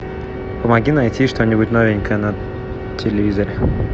помоги найти что нибудь новенькое на телевизоре